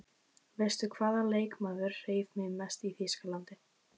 Veistu hvaða leikmaður hreif mig mest í Þýskalandi?